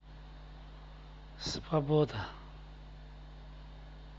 свобода